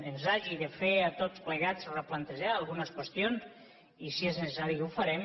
ens hagi de fer a tots plegats replantejar algunes qüestions i si és necessari ho farem